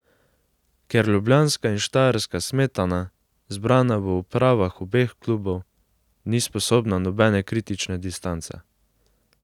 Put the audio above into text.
Ker ljubljanska in štajerska smetana, zbrana v upravah obeh klubov, ni sposobna nobene kritične distance.